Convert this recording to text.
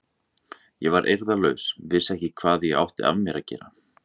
Ég var eirðarlaus, vissi ekkert hvað ég átti af mér að gera.